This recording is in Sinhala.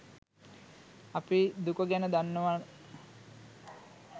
අපි දුක ගැන දන්නවාන